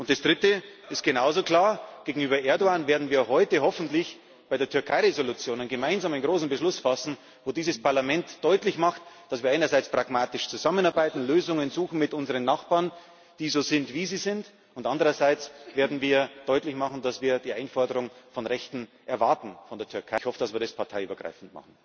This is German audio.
Und das Dritte ist genauso klar Gegenüber Erdoğan werden wir heute hoffentlich bei der Türkei Entschließung einen gemeinsamen großen Beschluss fassen, in dem dieses Parlament deutlich macht, dass wir einerseits pragmatisch zusammenarbeiten, Lösungen suchen mit unseren Nachbarn, die so sind, wie sie sind, und andererseits werden wir deutlich machen, dass wir von der Türkei die Einforderung von Rechten erwarten. Ich hoffe, dass wir das parteiübergreifend machen.